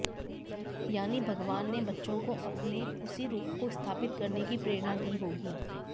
यानी भगवान ने बच्चों को अपने उसी रूप को स्थापित करने की प्रेरणा दी होगी